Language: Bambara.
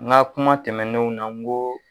N ga kuma tɛmɛnnenw na n ko